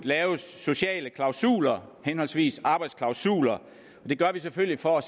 laves sociale klausuler henholdsvis arbejdsklausuler det gør vi selvfølgelig for